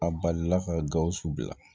A balila ka gawusu bila